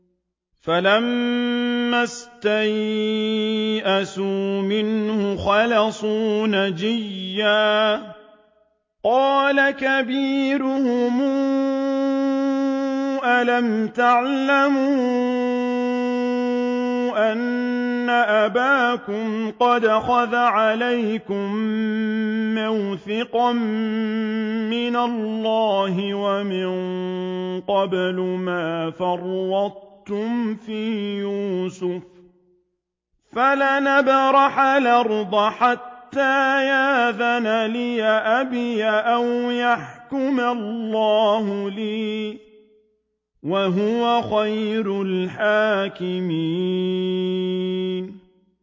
فَلَمَّا اسْتَيْأَسُوا مِنْهُ خَلَصُوا نَجِيًّا ۖ قَالَ كَبِيرُهُمْ أَلَمْ تَعْلَمُوا أَنَّ أَبَاكُمْ قَدْ أَخَذَ عَلَيْكُم مَّوْثِقًا مِّنَ اللَّهِ وَمِن قَبْلُ مَا فَرَّطتُمْ فِي يُوسُفَ ۖ فَلَنْ أَبْرَحَ الْأَرْضَ حَتَّىٰ يَأْذَنَ لِي أَبِي أَوْ يَحْكُمَ اللَّهُ لِي ۖ وَهُوَ خَيْرُ الْحَاكِمِينَ